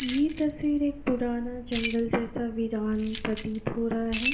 ये तस्वीर एक पुराना जंगल जैसा वीरान प्रतीत हो रहा है।